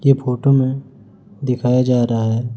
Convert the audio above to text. ये फोटो मे दिखया जा रहा है--